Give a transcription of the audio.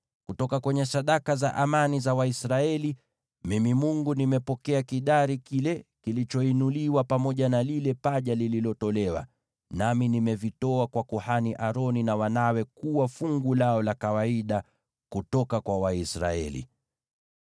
Kutoka kwenye sadaka za amani za Waisraeli, mimi Mungu nimepokea kidari kile kilichoinuliwa pamoja na lile paja lililotolewa, nami nimevitoa kwa kuhani Aroni na wanawe kuwa fungu lao la kawaida kutoka kwa Waisraeli.’ ”